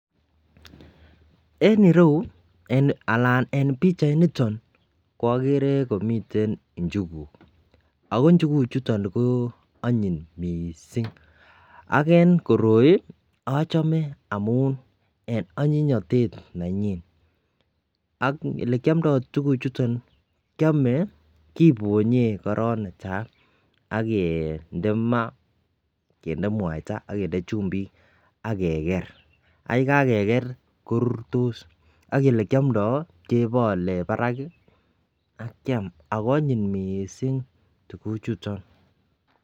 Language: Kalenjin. En ireyu anan en bichait niton ko agere komiten njuguk ako njuguk koanyin mising agennkotoi achome amun en anyinyatet nenyin ak olekyomdoi tuguk chuton kiame ak kebonye koron netai akende ma anan kende mwaita agende chumbik ageger ak yekageger korurtos ak olekiamdoi kebale Barak akiam akoanyin mising tuguk chuton